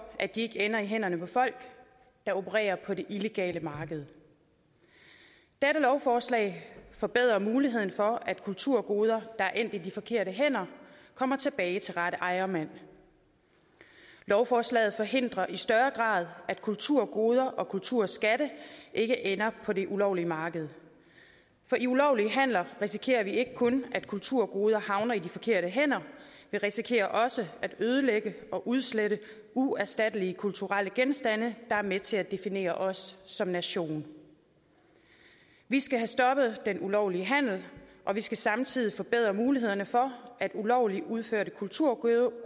at de ikke ender i hænderne på folk der opererer på det illegale marked dette lovforslag forbedrer muligheden for at kulturgoder der er endt i de forkerte hænder kommer tilbage til rette ejermand lovforslaget forhindrer i større grad at kulturgoder og kulturskatte ikke ender på det ulovlige marked for i ulovlige handler risikerer vi ikke kun at kulturgoder havner i de forkerte hænder vi risikerer også at ødelægge og udslette uerstattelige kulturelle genstande der er med til at definere os som nation vi skal have stoppet den ulovlige handel og vi skal samtidig forbedre mulighederne for at ulovligt udførte kulturgoder